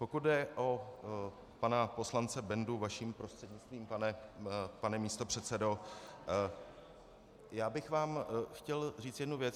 Pokud jde o pana poslance Bendu, vaším prostřednictvím, pane místopředsedo, já bych vám chtěl říct jednu věc.